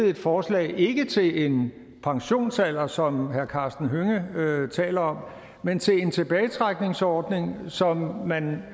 et forslag ikke til en pensionsalder som herre karsten hønge taler om men til en tilbagetrækningsordning som man